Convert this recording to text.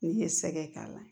N'i ye sɛgɛ k'a la